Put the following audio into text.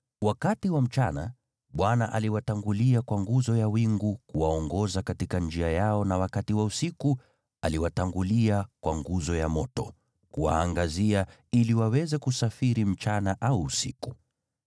Wakati wa mchana Bwana aliwatangulia kwa nguzo ya wingu kuwaongoza katika njia yao, na wakati wa usiku aliwatangulia kwa nguzo ya moto kuwaangazia, ili waweze kusafiri mchana au usiku.